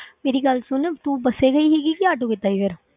ਮੇਰੀ ਗੱਲ ਸੁਣ ਤੂੰ ਬਸ ਹੀ ਗਈ ਸੀਗੀ ਕਿ ਆਟੋ ਕੀਤਾ ਸੀ ਫਿਰ?